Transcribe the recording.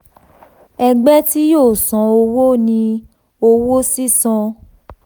ẹgbẹ́ tí yóò san owó ni owó sísan